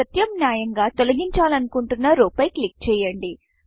ప్రత్యామ్నాయంగా తొలగించాలనుకుంటున్న రౌ రోపై క్లిక్ చేయండి